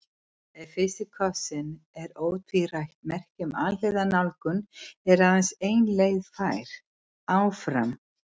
Ef fyrsti kossinn er ótvírætt merki um alhliða nálgun er aðeins ein leið fær: Áfram.